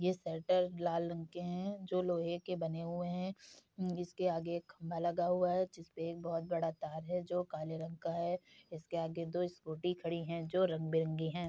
ये शटर लाल रंग के हैं जो लोहे के बने हुए हैं इसके आगे खंभा लगा हुआ है जिसपे एक बोहुत बड़ा तार है जो काले रंग का है इसके आगे दो स्कूटी खड़ी हैं जो रंग बिरंगी हैं।